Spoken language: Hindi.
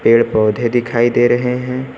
पेड़ पौधे दिखाई दे रहे हैं।